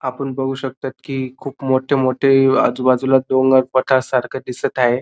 आपण बघू शकता की खूप मोठे मोठे आजूबाजूला डोंगर पठार सारखं दिसत हाये.